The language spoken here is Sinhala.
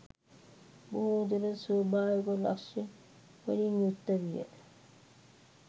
බොහෝ දුරට ස්වාභාවික ලක්‍ෂණවලින් යුක්ත විය.